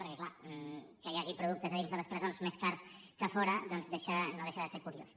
perquè clar que hi hagi productes a dins de les presons més cars que a fora doncs no deixa de ser curiós